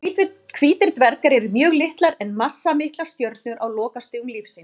Hvítir dvergar eru mjög litlar en massamiklar stjörnur á lokastigum lífs síns.